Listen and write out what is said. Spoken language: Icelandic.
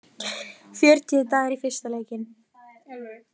Fjörutíu dagar í fyrsta leikinn